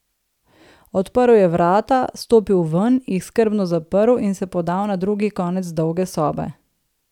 Odprl je vrata, stopil ven, jih skrbno zaprl in se podal na drugi konec dolge sobe.